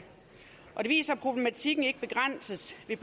og det viser at problematikken ikke begrænses ved